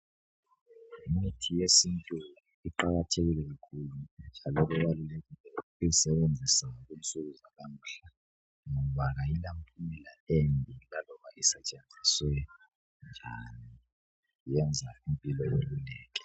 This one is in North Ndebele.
Kuqakathekile ukusebenzisa imithi yesintu ngoba iyalapha imikhuhlane etshiyeneyo njalo imithi le kufanele isetshenziswe ngendlela eqondileyo.